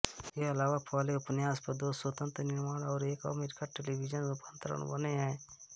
इसके अलावा पहले उपन्यास पर दो स्वतंत्र निर्माण और एक अमेरिकी टेलीविजन रूपांतरण बने हैं